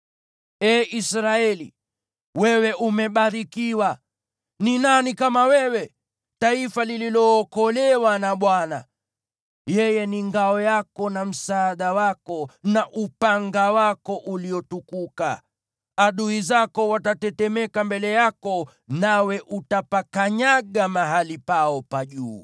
Ee Israeli, wewe umebarikiwa! Ni nani kama wewe, taifa lililookolewa na Bwana ? Yeye ni ngao yako na msaada wako, na upanga wako uliotukuka. Adui zako watatetemeka mbele yako, nawe utapakanyaga mahali pao pa juu.”